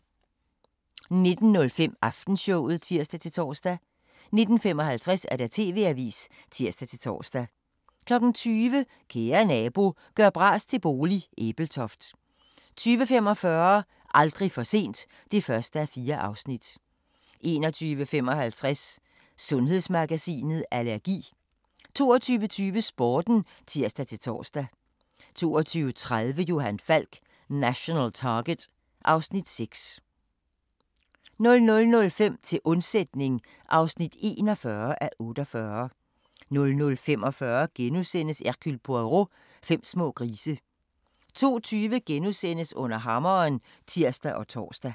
19:05: Aftenshowet (tir-tor) 19:55: TV-avisen (tir-tor) 20:00: Kære nabo – gør bras til bolig – Ebeltoft 20:45: Aldrig for sent (1:4) 21:55: Sundhedsmagasinet: Allergi 22:20: Sporten (tir-tor) 22:30: Johan Falk: National Target (Afs. 6) 00:05: Til undsætning (41:48) 00:45: Hercule Poirot: Fem små grise * 02:20: Under hammeren *(tir og tor)